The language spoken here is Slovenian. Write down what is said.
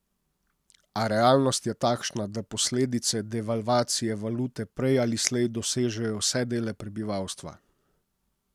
A realnost je takšna, da posledice devalvacije valute prej ali slej dosežejo vse dele prebivalstva.